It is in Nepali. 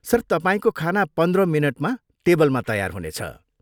सर, तपाईँको खाना पन्ध्र मिनटमा टेबलमा तयार हुनेछ।